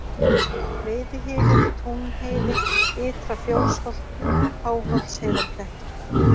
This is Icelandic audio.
Veiðihylur, Túnheiði, Ytra-Fjósholt, Háholtsheiðarklettur